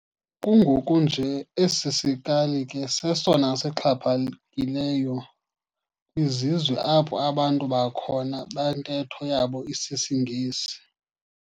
Kungoku nje esi sikali ke sesona sixhaphakileyo kwizizwe apho abantu balhona bantetho yabo isisiNgesi.